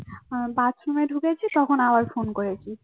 আহ বাথরুমনে ঢুকেছি তখন আবার ফোন করেছি